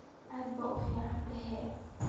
Aad ba uficnthy.